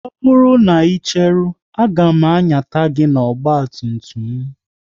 Ọ bụrụ na ị cheru, a ga m anyata gị n'ọgba tum tum m